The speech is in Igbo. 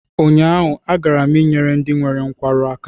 Ụnyaahụ, agara m ịnyere ndị nwere nkwarụ aka